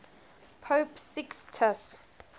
pope sixtus